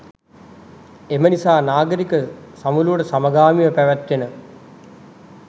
එම නිසා නාගරික සමුළුවට සමගාමීව පැවැත්වෙන